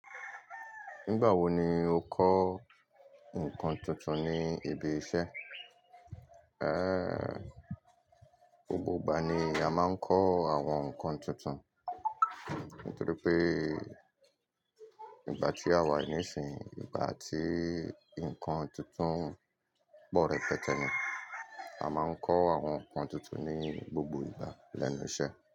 Nígbà wo ni o kọ́ nǹkan tuntun ní ibi iṣẹ́? Eéh, gbogbo ìgbà ni a máa ń kọ́ àwọn nǹkan tuntun, nítorí pé ìgbà tí àwa nísìn ìgbà àti nǹkan tuntun pọ̀ rẹ́pẹtẹ́ ni, a máa ń kọ́ àwọn nǹkan tuntun ní gbogbo ìgbà lẹ́nu iṣẹ́